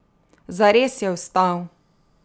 Zares je vstal!